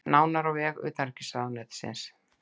Nánar á vef utanríkisráðuneytisins